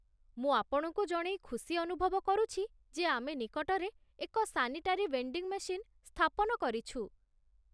ମୁଁ ଆପଣଙ୍କୁ ଜଣେଇ ଖୁସି ଅନୁଭବ କରୁଛି ଯେ ଆମେ ନିକଟରେ ଏକ ସାନିଟାରୀ ଭେଣ୍ଡିଙ୍ଗ୍ ମେସିନ୍ ସ୍ଥାପନ କରିଛୁ।